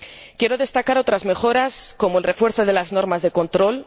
Quiero destacar otras mejoras, como el refuerzo de las normas de control.